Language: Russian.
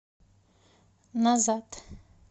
назад